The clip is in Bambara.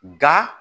Nka